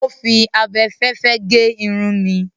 Ó fi abẹfẹ́fẹ́ gé irun mi.